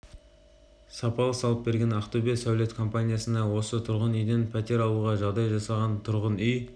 сапалы салып берген ақтөбе сәулет компаниясына осы тұрғын үйден пәтер алуға жағдай жасаған тұрғын үй